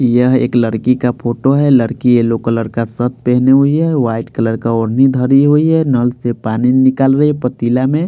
यह एक लड़की का फोटो है लड़की यलो कलर का शर्ट पहने हुए है व्हाईट कलर का ओढ़नी धरी हुई है नल से पानी निकाल रही है पतीला में।